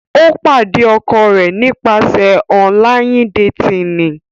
O pade ọkọ rẹ nipasẹ ọnlayin-detini.